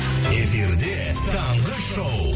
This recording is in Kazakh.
эфирде таңғы шоу